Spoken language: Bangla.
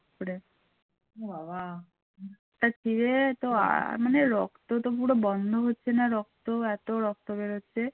দিয়ে তো আর মানে রক্ত তো পুরো বন্ধ হচ্ছে না রক্ত এত রক্ত বেরোচ্ছে